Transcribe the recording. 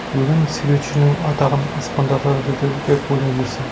өлім суретшінің атағын аспандатады деп ойлап жүрсем